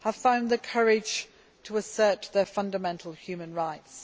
have found the courage to assert their fundamental human rights.